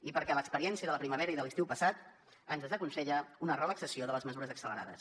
i perquè l’experiència de la primavera i de l’estiu passat ens desaconsella una relaxació de les mesures accelerades